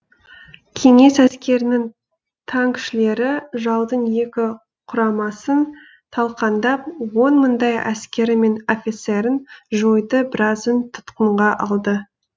кеңес әскерінің танкішілері жаудың екі құрамасын талқандап он мыңдай әскері мен офицерін жойды біразын тұтқынға алды